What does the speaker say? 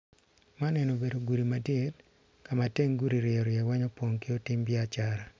Man eni obedo gudi madit kama teng gudi ryo ryo weng opong ki otim biacara.